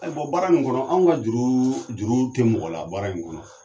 Ayi baara in kɔnɔ an ka juru juru tɛ mɔgɔ la baara in kɔnɔ